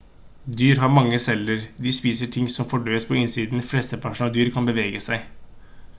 dyr har mange celler de spiser ting som fordøyes på innsiden flesteparten av dyr kan bevege seg